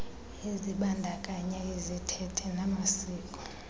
ezibandakanya izithethe namasiko